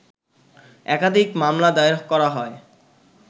একাধিক মামলা দায়ের করা হয়